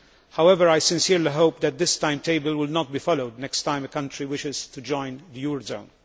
However, I sincerely hope that this timetable will not be followed next time a country wishes to join the eurozone.